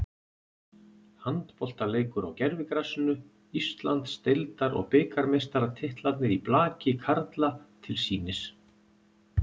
Handboltaleikur á gervigrasinu, Íslands- deildar og bikarmeistaratitlarnir í blaki karla til sýnis.